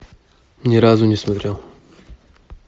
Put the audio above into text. ни разу не смотрел